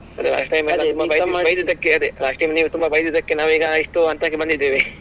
ಅದೆ last time ನೀವು ಬೈದದ್ದಕ್ಕೆ ಅದೆ last time ನೀವು ತುಂಬ ಬೈದದ್ದಕ್ಕೆ ನಾವೀಗ ಇಷ್ಟು ಹಂತಕ್ಕೆ ಬಂದಿದ್ದೇವೆ.